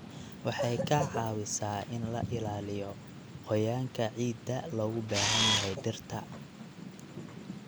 Waxay ka caawisaa in la ilaaliyo qoyaanka ciidda loogu baahan yahay dhirta.